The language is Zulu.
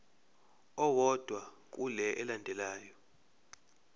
owodwa kule elandelayo